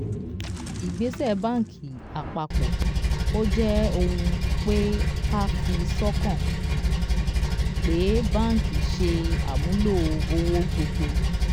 ìgbésẹ bánkì apapọ: ó jé ohunpe ká fi sọ́kàn pé banki ṣe àmúlò owó gbogbo.